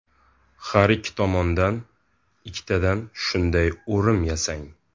Har ikki tomondan ikkitadan shunday o‘rim yasang.